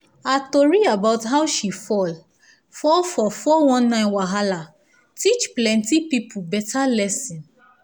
her tori about how she fall um fall for four one nine wahala teach plenty people better lesson.